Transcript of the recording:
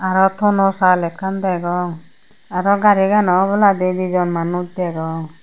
aa tono saal ekkan degong aro garigano oboladi dijon manuj degong.